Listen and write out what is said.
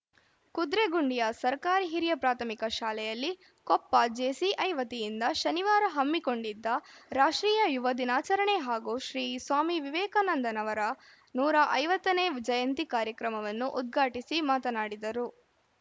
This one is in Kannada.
ಕುದ್ರೆಗುಂಡಿಯ ಸರ್ಕಾರಿ ಹಿರಿಯ ಪ್ರಾಥಮಿಕ ಶಾಲೆಯಲ್ಲಿ ಕೊಪ್ಪ ಜೆಸಿಐ ವತಿಯಿಂದ ಶನಿವಾರ ಹಮ್ಮಿಕೊಂಡಿದ್ದ ರಾಷ್ಟ್ರೀಯ ಯುವ ದಿನಾಚರಣೆ ಹಾಗೂ ಶ್ರೀ ಸ್ವಾಮಿ ವಿವೇಕಾನಂದನವರ ನೂರ ಐವತ್ತನೇ ಜಯಂತಿ ಕಾರ್ಯಕ್ರಮವನ್ನು ಉದ್ಘಾಟಿಸಿ ಮಾತನಾಡಿದರು